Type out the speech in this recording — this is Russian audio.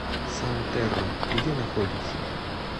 сантерра где находится